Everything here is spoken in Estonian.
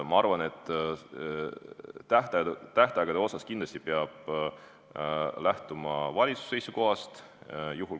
Ma arvan, et tähtaegade puhul peab kindlasti lähtuma valitsuse seisukohast.